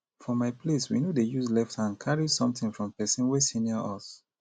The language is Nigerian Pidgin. for my place we no dey use left hand carry something from person wey senior us